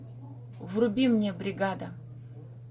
вруби мне бригада